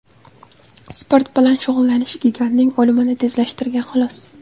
Sport bilan shug‘ullanish gigantning o‘limini tezlashtirgan, xolos.